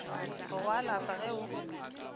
go go alafa ge o